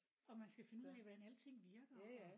Og man skal finde ud af hvordan alting virker og